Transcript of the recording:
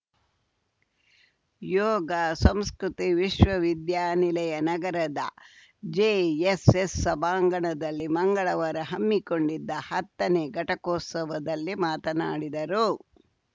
ಯೋಗ ಸಂಸ್ಕೃತಿ ವಿಶ್ವವಿದ್ಯಾನಿಲಯ ನಗರದ ಜೆಎಸ್‌ಎಸ್‌ ಸಭಾಂಗಣದಲ್ಲಿ ಮಂಗಳವಾರ ಹಮ್ಮಿಕೊಂಡಿದ್ದ ಹತ್ತನೇ ಘಟಕೋತ್ಸವದಲ್ಲಿ ಮಾತನಾಡಿದರು